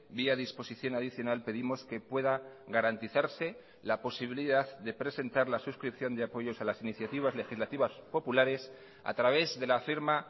vía disposición adicional pedimos que pueda garantizarse la posibilidad de presentar la suscripción de apoyos a las iniciativas legislativas populares a través de la firma